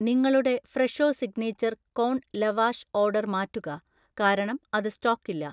നിങ്ങളുടെ Fresho signature corn lavash order മാറ്റുക, കാരണം അത് സ്റ്റോക്കില്ല.